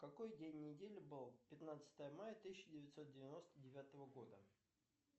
какой день недели был пятнадцатое мая тысяча девятьсот девяносто девятого года